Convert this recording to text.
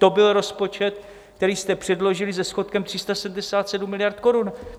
To byl rozpočet, který jste předložili, se schodkem 377 miliard korun.